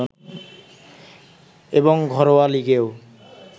এবং ঘরোয়া লীগেও